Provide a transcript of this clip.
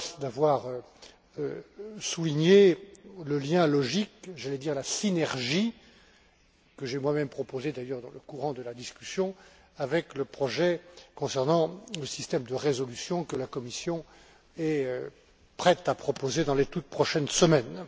Balz d'avoir souligné le lien logique j'allais dire la synergie que j'ai moi même proposé, dans le courant de la discussion, avec le projet concernant le système de résolution que la Commission est prête à proposer dans les toutes prochaines semaines.